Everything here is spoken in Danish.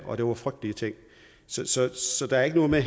og det var frygtelige ting så der er ikke noget med